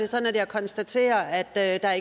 sådan at jeg konstaterer at der ikke er